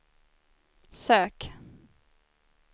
sök